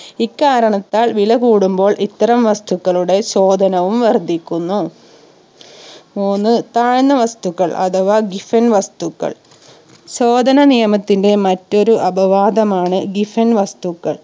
ഇക്കാരണത്താൽ വില കൂടുമ്പോൾ ഇത്തരം വസ്തുക്കളുടെ ചോദനവും വർധിക്കുന്നു മൂന്ന് താഴ്ന്ന വസ്തുക്കൾ അഥവാ Giffen വസ്തുക്കൾ ചോദന നിയമത്തിന്റെ മറ്റൊരു അപവാതമാണ്‌ giffen വസ്തുക്കൾ